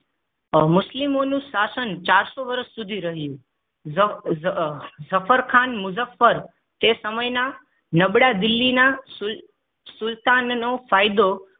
મુસ્લિમોનું શાસન ચારસો વર્ષ સુધી રહ્યુ. જ જ જફરખાન મુજ્જફર એ સમયના નબળા દિલ્હીના સુલતાન સુલતાનનો ફાયદો